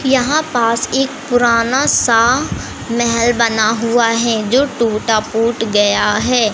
यहां पास एक पुराना सा महल बना हुआ है जो टूटा फुट गया है।